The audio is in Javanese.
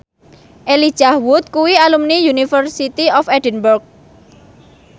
Elijah Wood kuwi alumni University of Edinburgh